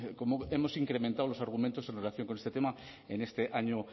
cómo hemos incrementado los argumentos en relación con este tema en este año